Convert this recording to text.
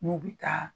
N'u bɛ taa